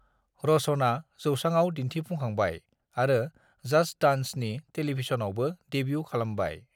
रोशना जौसांआव दिन्थिफुंखांबाय आरो 'जस्ट डांस' नि टेलिभिजनावबो देब्यु खालामबाय।